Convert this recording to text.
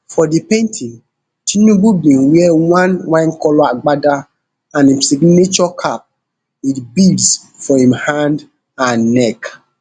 for di painting tinubu bin wear one winecolour agbada and im signature cap wit beads for im hand and neck